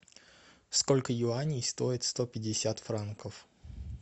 сколько юаней стоит сто пятьдесят франков